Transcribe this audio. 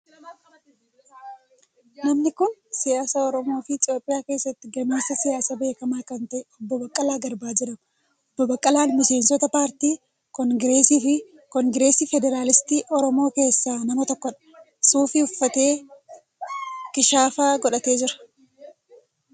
Namni kun siyaasa Oromoo fi Itiyoophiyaa keessatti gameessa siyaasaa beekamaa kan ta'e Obbo Baqqalaa Garbaa jedhama. Obbo Baqqalaan miseensota Paartii Kongiresii Federaalistii Oromoo keessaa nama tokkodha. Suufii uffatee, kishaafa godhatee jira.